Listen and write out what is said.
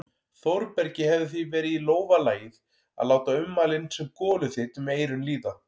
Þórbergi hefði því verið í lófa lagið að láta ummælin sem goluþyt um eyrun líða.